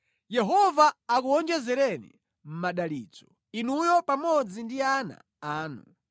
Yehova akuwonjezereni madalitso; inuyo pamodzi ndi ana anu.